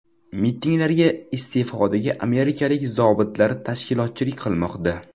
Mitinglarga iste’fodagi amerikalik zobitlar tashkilotchilik qilmoqda.